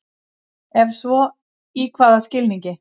Ef svo í hvaða skilningi?